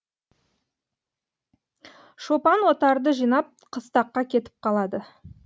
шопан отарды жинап кыстаққа кетіп қалады